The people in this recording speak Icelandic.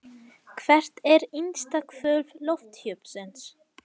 Hvert er innsta hvolf lofthjúpsins?